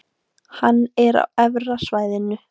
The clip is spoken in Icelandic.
Hann er á Efra svæðinu.